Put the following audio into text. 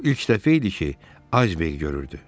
O ilk dəfə idi ki, Ayzberq görürdü.